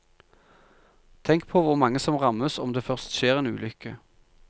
Tenk på hvor mange som rammes om det først skjer en ulykke.